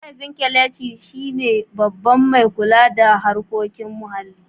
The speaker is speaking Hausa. Mahaifin Kelechi shi ne Babban mai kula da harkokin muhalli.